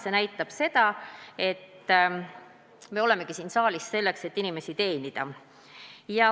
See näitab seda, et me olemegi siin saalis selleks, et inimesi teenida.